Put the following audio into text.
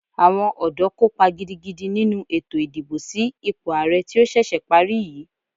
Àwọn ọ̀dọ́ kópa gidigidi nínu ètò ìdìbò sí ipò àrẹ tí ó ṣẹ̀ṣẹ̀ parí yìí.